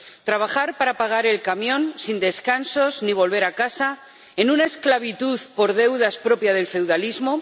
¿Trabajar para pagar el camión, sin descansos ni volver a casa, en una esclavitud por deudas propia del feudalismo?